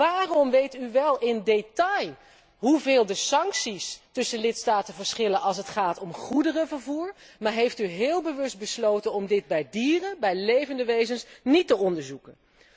Waarom weet u wel in detail hoeveel de sancties tussen lidstaten verschillen als het gaat om goederenvervoer, maar heeft u heel bewust besloten om dit bij dieren, bij levende wezens, niet te onderzoeken?